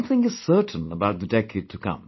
One thing is certain about the decade to come